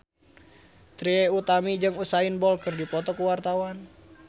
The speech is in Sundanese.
Trie Utami jeung Usain Bolt keur dipoto ku wartawan